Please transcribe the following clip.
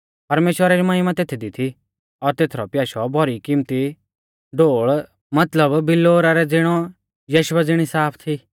परमेश्‍वरा री महिमा तेथदी थी और तेसरौ प्याशौ भौरी किमत्ती ढोल़ मतलब बिल्लौरा रै ज़िणौ यशबा ज़िणी साफ थी